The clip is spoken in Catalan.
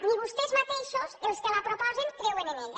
ni vostès mateixos els que la proposen creuen en ella